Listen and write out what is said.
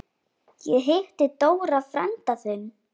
Ég hitti Dóra frænda þinn.